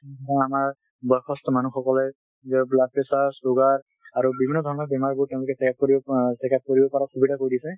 আমাৰ বয়সস্থ মানু্হসকলে blood pressure, sugar আৰু বিভিন্ন ধৰণৰ বেমাৰ বোৰ ত্তেওঁলোকে track কৰিব পা checkup কৰিব পাৰা সুবিধা কৰি দিছে